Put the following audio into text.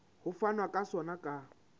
ho fanwa ka sona ka